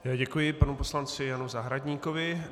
Děkuji panu poslanci Janu Zahradníkovi.